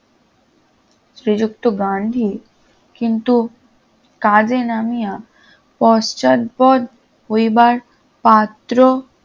শ্রীযুক্ত গান্ধী কিন্তু কাজে নামিয়া পশ্চাদপদ হইবার পাত্র